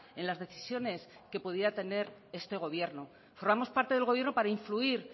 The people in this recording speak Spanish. en las decisiones que pudiera tener este gobierno formamos parte del gobierno para influir